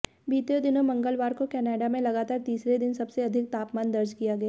बीते दिन मंगलवार को कनाडा में लगातार तीसरे दिन सबसे अधिक तापमान दर्ज किया गया